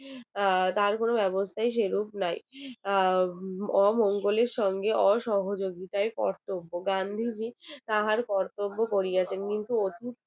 আহ তার কোন ব্যবস্থাই সেরূপ নাই আহ অমঙ্গলের সঙ্গে অসহযোগিতায় কর্তব্য গান্ধীজীর তাহার কর্তব্য করিয়াছেন কিন্তু